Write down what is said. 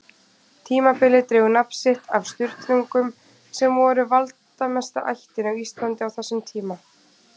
Tímabilið dregur nafn sitt af Sturlungum sem voru valdamesta ættin á Íslandi á þessum tíma.